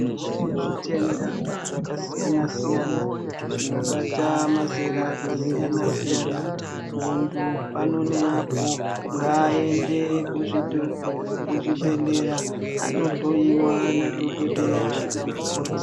Kune zvitenda zvakasiyana siyana zvinobata mazera akasiyana siyana. Muntu pano neapo ngaaende kuzvibhedhlera anohloyiwa nadhokodheya namukoti.